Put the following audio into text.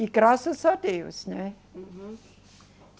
E graças a Deus, né? Uhum